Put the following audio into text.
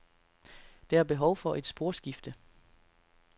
Der er behov for et sporskifte.